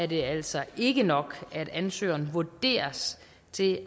det altså ikke nok at ansøgeren vurderes til